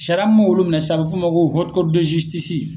Sariya mun m'olu minɛ sisan a bɛ f'o ma ko